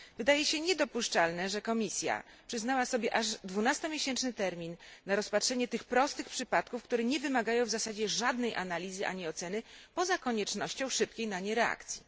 Wydaje się niedopuszczalne, że Komisja przyznała sobie aż dwunastomiesięczny termin na rozpatrzenie tych prostych przypadków, które nie wymagają w zasadzie żadnej analizy ani oceny poza koniecznością szybkiej na nie reakcji.